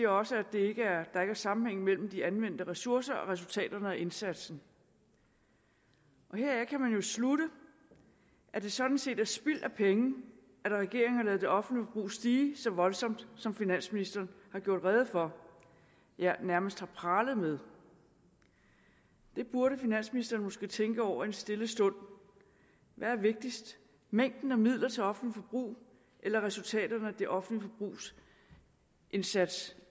også at der ikke er sammenhæng mellem de anvendte ressourcer og resultaterne af indsatsen heraf kan man jo slutte at det sådan set er spild af penge at regeringen har ladet det offentlige forbrug stige så voldsomt som finansministeren har gjort rede for ja nærmest har pralet med det burde finansministeren måske tænke over i en stille stund hvad er vigtigst mængden af midler til offentligt forbrug eller resultaterne af det offentliges indsats